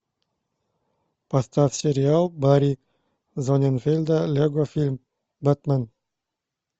поставь сериал барри зонненфельда лего фильм бэтмен